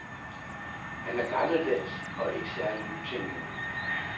Han er gammeldags og ikke særlig nytænkende.